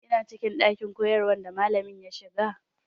Kina cikin ɗakin koyarwa da malami ya shiga?